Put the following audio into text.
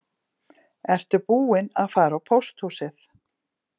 Ertu búinn að fara á pósthúsið